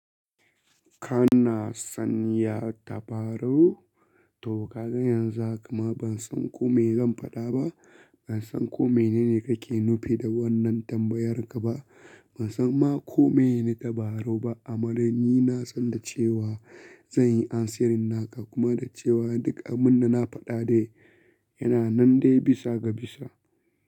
Ka na san ya tabarau? To ka ga yanzu haka ma ban san ko me zan faɗa ba. Ban san kome ne ne kake nufi da wannan tambayar ka ba. Ban san ma kome ne tabarau ba. Amma dai ni na san da cewa zan yi answering naka kuma da cewa duk abun da na faɗa dai yana nan dai bisa ga bisa.